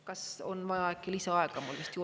Kas on vaja äkki lisaaega mul juurde?